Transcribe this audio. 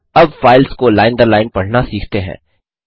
अब फाइल्स को लाइन दर लाइन पढना सीखते हैं